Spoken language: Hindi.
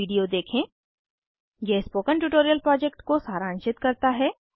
httpspoken tutorialorgWhat is a Spoken tutorial यह स्पोकन ट्यूटोरियल प्रोजेक्ट को सारांशित करता है